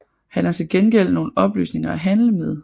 Han har til gengæld nogle oplysninger at handle med